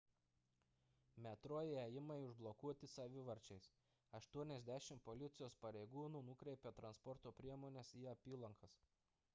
metro įėjimai užblokuoti savivarčiais 80 policijos pareigūnų nukreipė transporto priemones į apylankas